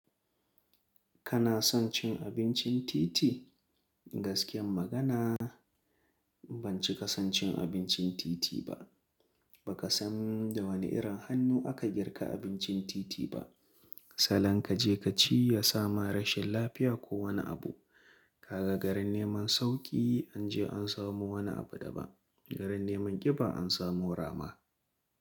Kana son cin abincin titi? Gaskiyar magana, ban cika son cin abincin titi ba. Ba ka san da wane irin hannu aka girka abincin titi ba. Salan kaje kaci ya sama rashin lafiya ko wani abu. Kaga garin neman sauƙi an je an samu wani abu daban, garin neman ƙiba an samu rama.